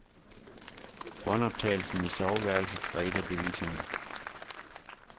Båndoptagelsen i soveværelset var et af beviserne.